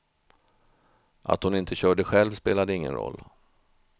Att hon inte körde själv spelade ingen roll.